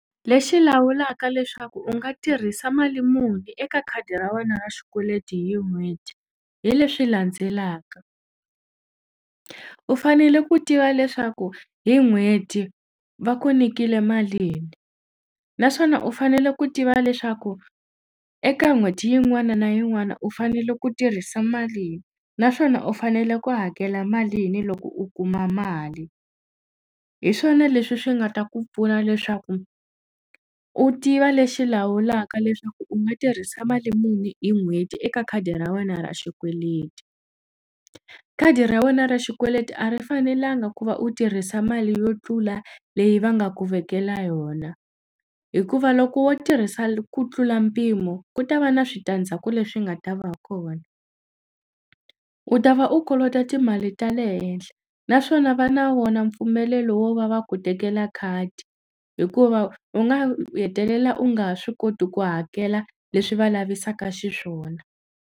Lexi lawulaka leswaku u nga tirhisa mali muni eka khadi ra wena ra xikweleti hi n'hweti hi leswi landzelaka u fanele ku tiva leswaku hi n'hweti va ku nikile malini naswona u fanele ku tiva leswaku eka n'hweti yin'wana na yin'wana u fanele ku tirhisa malini naswona u fanele ku hakela malini loko u kuma mali hi swona leswi swi nga ta ku pfuna leswaku u tiva lexi lawulaka leswaku u nga tirhisa mali muni hi n'hweti eka khadi ra wena ra xikweleti khadi ra wena ra xikweleti a ri fanelanga ku va u tirhisa mali yo tlula leyi va nga ku vekela yona hikuva loko wo tirhisa ku tlula mpimo ku ta va na switandzhaku leswi nga ta va kona u ta va u kolota timali ta le henhla na swona va na wona mpfumelelo wo va va ku tekela khadi hikuva u nga hetelela u nga ha swi koti ku hakela leswi va lavisaka xiswona.